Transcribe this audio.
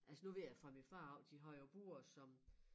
Altså nu ved jeg fra min far også de har jo bure som